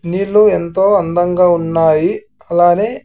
నీళ్లు ఎంతో అందంగా ఉన్నాయి అలానే.